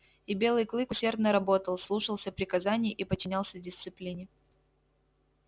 и белый клык усердно работал слушался приказаний и подчинялся дисциплине